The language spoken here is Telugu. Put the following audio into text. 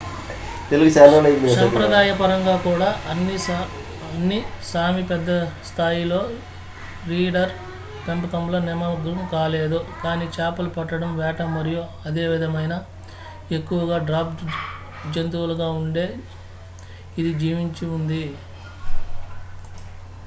సంప్రదాయపరంగా కూడా అన్ని సామీ పెద్ద స్థాయి లో రీండీర్ పెంపకంలో నిమగ్నం కాలేదు కానీ చేపలు పట్టడం వేట మరియు అదే విధమైన ఎక్కువగా డ్రాఫ్ట్ జంతువులు గా ఉండే ఇది జీవించి ఉంది